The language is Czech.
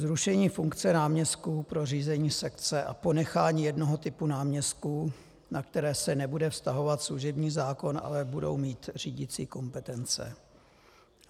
Zrušení funkce náměstků pro řízení sekce a ponechání jednoho typu náměstků, na které se nebude vztahovat služební zákon, ale budou mít řídicí kompetence.